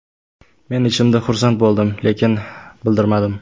Men ichimda xursand bo‘ldim, lekin bildirmadim.